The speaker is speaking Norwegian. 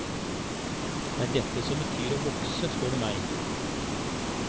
Det er dette som betyr å vokse, spør du meg.